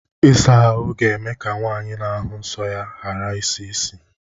Ịsa ahụ ga-eme ka nwaanyị n'ahụ nso ya gara isi isi.